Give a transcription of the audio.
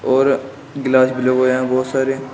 और ग्लास भी लगे हुए हैं बहुत सारे।